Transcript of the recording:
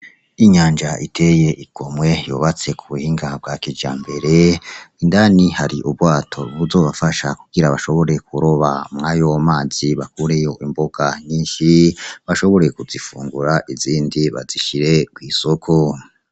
Inyanja iteye igomwe yubatse ku buhinga bwa kijambere. Indani hari ubwato buzobafasha kugira bashobore kuroba muri ayo mazi bakureyo imboga nyinshi, bashobore kuzifungura izindi bazishire kw'isoko.